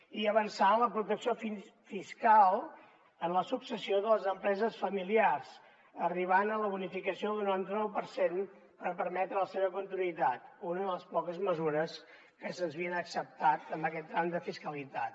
i avançar en la protecció fiscal en la successió de les empreses familiars arribant a la bonificació del noranta nou per cent per permetre la seva continuïtat una de les poques mesures que se’ns havien acceptat en aquest tram de fiscalitat